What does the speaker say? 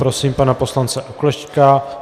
Prosím pana poslance Oklešťka.